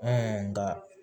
nka